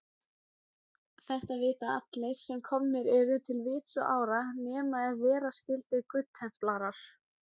Þetta vita allir, sem komnir eru til vits og ára, nema ef vera skyldi goodtemplarar.